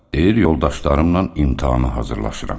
Deyir yoldaşlarımla imtahana hazırlaşıram.